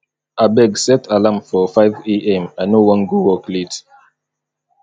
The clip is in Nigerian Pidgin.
abeg set alarm for five am i no wan go work late